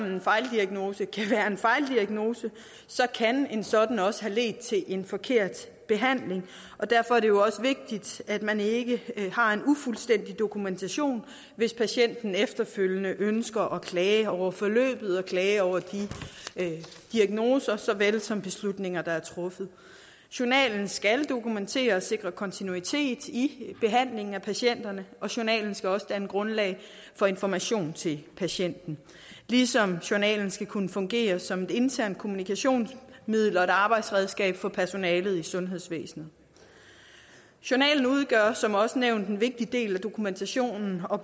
en fejldiagnose så kan en sådan også have ledt til en forkert behandling og derfor er det også vigtigt at man ikke har en ufuldstændig dokumentation hvis patienten efterfølgende ønsker at klage over forløbet og klage over de diagnoser såvel som beslutninger der er blevet truffet journalen skal dokumentere og sikre kontinuitet i behandlingen af patienterne og journalen skal også danne grundlag for information til patienten ligesom journalen skal kunne fungere som et internt kommunikationsmiddel og arbejdsredskab for personalet i sundhedsvæsenet journalen udgør som også nævnt en vigtig del af dokumentationen og